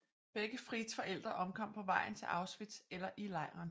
Begge Frieds forældre omkom på vejen til Auschwitz eller i lejren